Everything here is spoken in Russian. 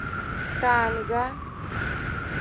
танга